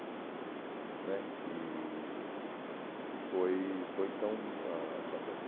né e e foi foi então ãh bastante